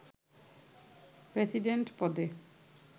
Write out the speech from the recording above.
president পদে